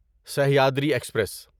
Sahyadri express